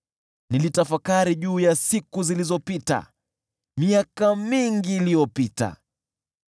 Nilitafakari juu ya siku zilizopita, miaka mingi iliyopita,